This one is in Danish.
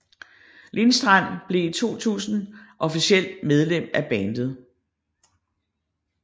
Lindstrand blev i 2000 officielt medlem af bandet